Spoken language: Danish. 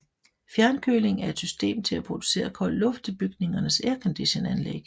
Fjernkøling er et system til at producere kold luft til bygningers airconditionanlæg